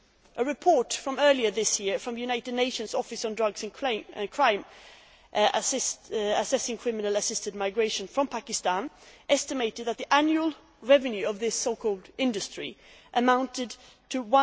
A report earlier this year from the United Nations Office on Drugs and Crime, assessing criminal assisted migration from Pakistan, estimated that the annual revenue of this so called industry amounted